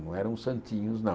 Não eram santinhos, não.